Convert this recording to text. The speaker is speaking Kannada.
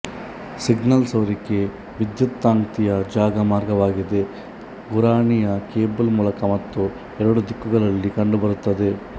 ಸಿಗ್ನಲ್ ಸೋರಿಕೆ ವಿದ್ಯುತ್ಕಾಂತೀಯ ಜಾಗ ಮಾರ್ಗವಾಗಿದೆ ಗುರಾಣಿಯ ಕೇಬಲ್ ಮೂಲಕ ಮತ್ತು ಎರಡೂ ದಿಕ್ಕುಗಳಲ್ಲಿ ಕಂಡುಬರುತ್ತದೆ